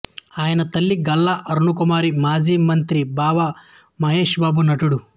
ఈయన తల్లి గల్లా అరుణకుమారి మాజీమంత్రి బావ మహేష్ బాబు నటుడు